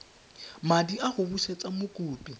madi a go busetsa mokopi